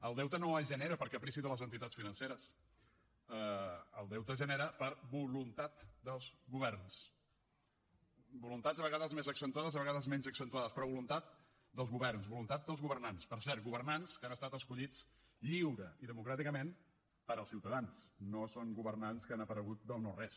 el deute no es genera per caprici de les entitats financeres el deute es genera per voluntat dels governs voluntats a vegades més accentuades a vegades menys accentuades però voluntat dels governs voluntat dels governants per cert governants que han estat escollits lliurement i democràticament pels ciutadans no són governants que han aparegut del no res